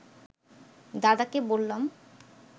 দাদাকে বললাম